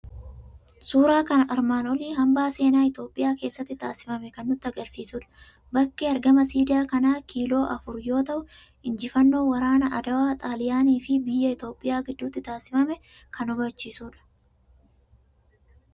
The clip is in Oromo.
Suuraan armaan olii hambaa seenaa Itoophiyaa keessatti taasifame kan nutti argisiisudha. Bakki argama siidaa kanaa kiiloo afur yoo ta'u, injifannoo waraana Adwaa xaaliyaanii fi Biyya Itoophiyaa gidduutti taasifame kan hubachiisudha.